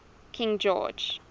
king george